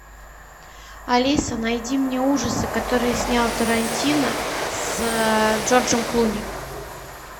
алиса найди мне ужасы которые снял тарантино с джорджем клуни